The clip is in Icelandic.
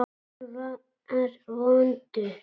Hann var vondur.